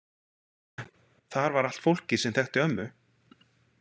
Þar var allt fólkið sem þekkti ömmu.